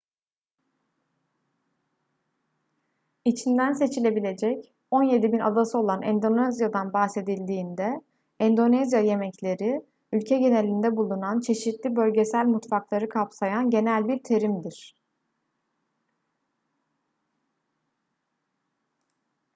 i̇çinden seçilebilecek 17.000 adası olan endonezya'dan bahsedildiğinde endonezya yemekleri ülke genelinde bulunan çeşitli bölgesel mutfakları kapsayan genel bir terimdir